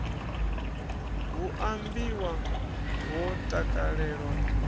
hu a imbiwa ho takalelwa